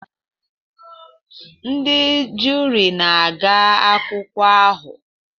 Ndị juri na-aga akụkọ ahụ